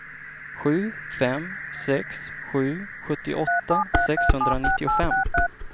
sju fem sex sju sjuttioåtta sexhundranittiofem